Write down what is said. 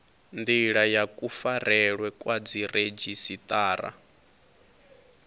ndila ya kufarelwe kwa dziredzhisiṱara